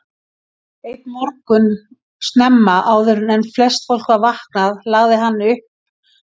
Einn morgun snemma, áður en flest fólk var vaknaði lagði hann upp frá Hólum.